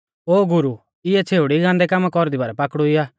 ओ गुरु इऐ छ़ेउड़ी गान्दै कामा कौरदी बारै पाकड़ुई आ